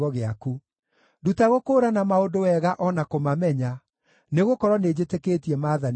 Nduta gũkũũrana maũndũ wega o na kũmamenya, nĩgũkorwo nĩnjĩtĩkĩtie maathani maku.